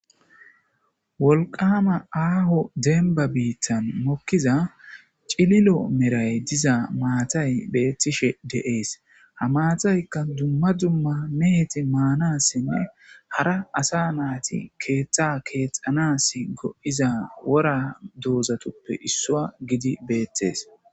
wolqama aaho denba biittan mokkiza cililo meray diza maatay beettishe deees ha maataykka dumma dumma meheti maanassinne hara asa naati keeththa keexxanas go7iza wora doozatoppe issua gidi beettees